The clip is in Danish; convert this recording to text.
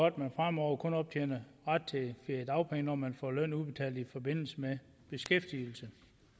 at man fremover kun optjener ret til feriedagpenge når man får løn udbetalt i forbindelse med beskæftigelse